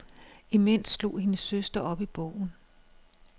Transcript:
Imens slog hendes søster op i bogen.